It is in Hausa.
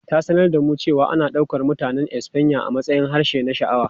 Ta sanar da mu cewa ana ɗaukar Mutanen Espanya a matsayin harshe na sha'awa.